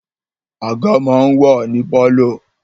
Àga máa ń wà ní pálọ̀